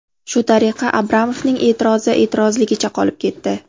Shu tariqa Abramovning e’tirozi e’tirozligicha qolib ketdi.